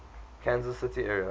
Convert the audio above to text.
kansas city area